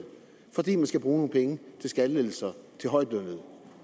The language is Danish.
fordi man skal bruge nogle penge til skattelettelser til højtlønnede